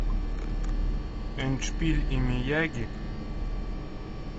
эндшпиль и мияги